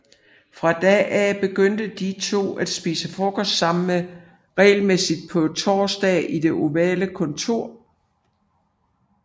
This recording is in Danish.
Fra da af begyndte de to at spise frokost sammen regelmæssigt på torsdage i Det ovale kontor